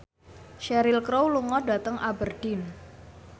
Cheryl Crow lunga dhateng Aberdeen